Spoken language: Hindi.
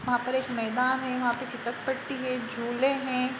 वहां पर एक मैदान है। यहां पर झुपरपट्टी हैं। झूले हैं।